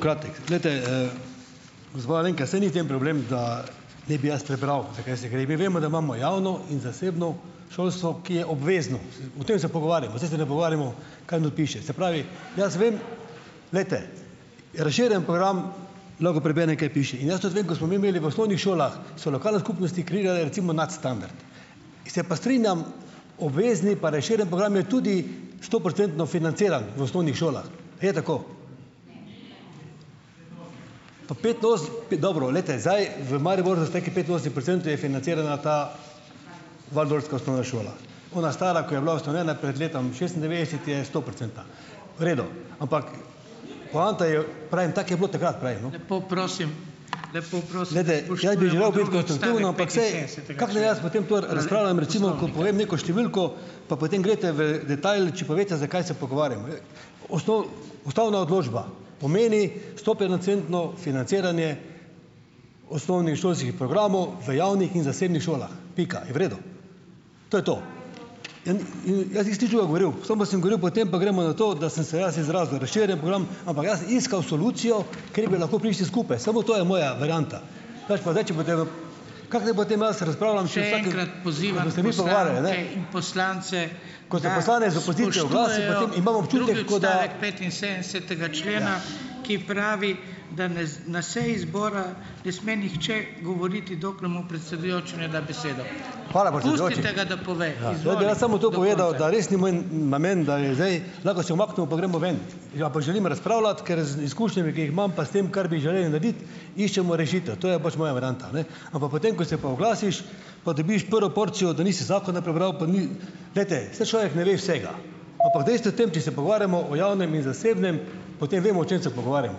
Kratek. Glejte, gospa Alenka, saj ni v tem problem, da ne bi jaz prebral, za kaj se gre. Mi vemo, da imamo javno in zasebno šolstvo, ki je obvezno. S. O tem se pogovarjamo, saj se ne pogovarjamo kaj not piše. Se pravi, jaz vem, glejte, razširjeni program, lahko preberem, kaj piše in jaz tudi vem, ko smo mi imeli v osnovnih šolah, so lokalne skupnosti krile recimo nadstandard. Se pa strinjam, obvezni pa razširjeni program je tudi stoprocentno financiran v osnovnih šolah. Je tako? Pa petinosemdeset p. Dobro, glejte, zdaj v Mariboru z nekaj petinosemdeset procentov je financirana ta waldorfska osnovna šola. Ona stara, ko je bila ustanovljena pred letom šestindevetdeset je stoprocentna. V redu. Ampak. Poanta je. Pravim, tako je bilo takrat prej. neko številko, pa potem glejte v detajl, če pa veste zakaj se pogovarjamo. Ja. Osnov. Ustavna odločba pomeni stoprocentno financiranje osnovnošolskih programov v javnih in zasebnih šolah. Pika. Je v redu? To je to. In, ja, jaz nisem nič o govoril, samo sem govoril, potem pa gremo na to, da sem se jaz izrazil, razširjeni program, ampak jaz sem iskal solucijo, kjer bi lahko prišli skupaj, samo to je moja varianta, pač pa, zdaj če boste, kako naj potem jaz razpravljam. Jaz bi rad samo to povedal, da res ni moj namen, da je zdaj, lahko se umaknemo pa gremo ven, ampak želim razpravljati, ker z izkušnjami, ki jih imam, pa s tem, kar bi želeli narediti, iščemo rešitev. To je pač moja varianta, ne. Ampak potem pa, ko se pa oglasiš, pa dobiš prvo porcijo, da nisi zakona prebral, pa ni. Glejte, saj človek ne ve vsega, ampak dejstvo je to, če se pogovarjamo o javnem in zasebnem, potem vemo, o čem se pogovarjamo,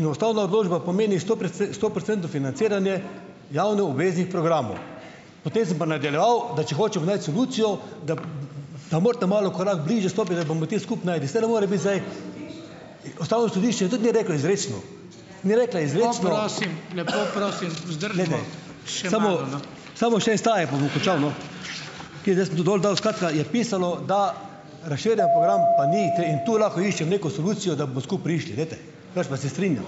in ustavna odločba pomeni stoprocentno financiranje javno obveznih programov. Potem sem pa nadaljeval, da če hočemo najti solucijo, da pa morate malo v korak bližje stopiti, da bomo te skupaj našli, saj ne more biti zdaj, ustavno sodišče tudi ni reklo izrecno, ni reklo izrecno. Samo še en stavek, pa bom končal, no. Kaj, zdaj sem tu dol dal, skratka je pisalo, da razširjeni program pa ni tule in tu lahko iščem neko solucijo, da bomo skupaj prišli, glejte, drugače se pa strinjam.